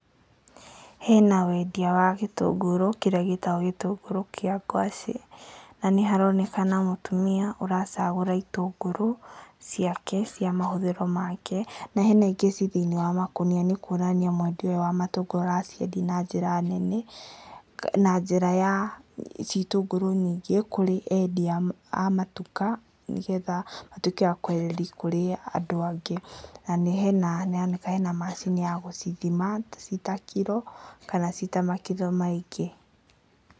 Hena wendia wa gĩtũngũrũ kĩrĩa gĩtagwo gĩtũngũrũ kĩa ngwacĩ, na nĩharonekana mũtumia aracagũra ciake cia mahũthĩro make na hena ingĩ ci thĩinĩ wa makonia nĩkwonania mwendia wa matũngũra araciendia na njĩra ya itundũrũ nyingĩ kũrĩ endia amatuka nĩgetha matuĩke akwenderia kũrĩ andũ angĩ na hena macini ya gũcithima cita kiro kana cita makiro maingĩ